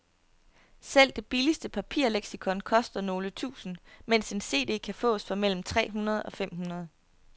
Selv det billigste papirleksikon koster nogle tusinde, mens en cd kan fås for mellem tre hundrede og fem hundrede.